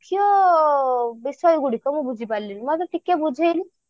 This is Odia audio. ମୁଖ୍ୟ ବିଷୟ ଗୁଡିକ ମୁଁ ବୁଝି ପାରିଲିନି ମତେ ଟିକେ ବୁଝେଇଲୁ